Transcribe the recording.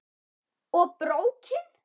Og BRÓKIN!